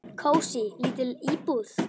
Kósí, lítil íbúð.